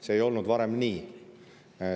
See ei olnud varem nii.